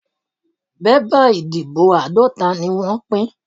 Bébà ìdìbò àádọ́ta ni wọ́n pín.